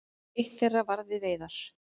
Eitt þeirra var við veiðar.